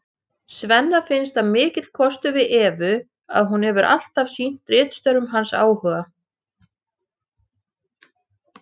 Svenna finnst það mikill kostur við Evu að hún hefur alltaf sýnt ritstörfum hans áhuga.